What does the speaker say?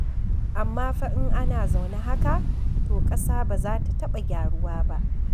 Amma fa in ana zaune haka, to ƙasa ba za ta taɓa gyaruwa ba.